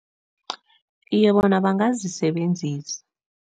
Iye, bona bangazisebenzisa.